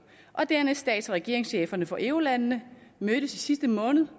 og dernæst stats og regeringscheferne for eurolandene mødtes i sidste måned